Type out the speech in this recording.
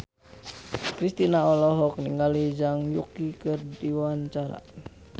Kristina olohok ningali Zhang Yuqi keur diwawancara